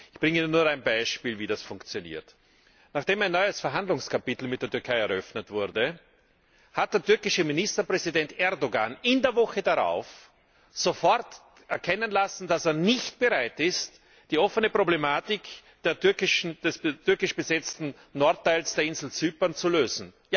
Ich bringe Ihnen nur ein Beispiel, wie das funktioniert Nachdem ein neues Verhandlungskapitel mit der Türkei eröffnet wurde, hat der türkische Ministerpräsident Erdoğan in der Woche darauf sofort erkennen lassen, dass er nicht bereit ist, die offene Problematik des türkisch besetzten Nordteils der Insel Zypern zu lösen.